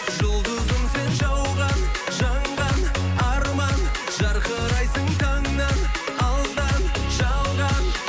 жұлдызым сен жауған жанған арман жарқырайсың таңнан алдан жалған